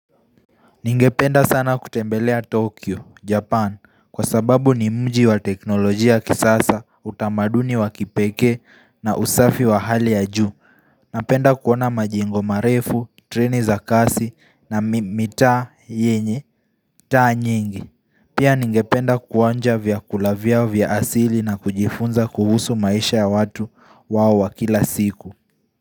Ningependa sana kutembelea Tokyo, Japan kwa sababu ni mji wa teknolojia ya kisasa utamaduni wa kipekee na usafi wa hali ya juu Napenda kuona majingo marefu, treni za kasi na mitaa yenye taa nyingi Pia ningependa kuonja vyakula vyao vya asili na kujifunza kuhusu maisha ya watu wao wa kila siku.